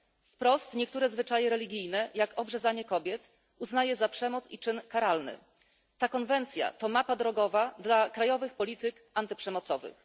Wprost niektóre zwyczaje religijne, jak obrzezanie kobiet, uznaje za przemoc i czyn karalny. Ta konwencja to mapa drogowa dla krajowych polityk antyprzemocowych.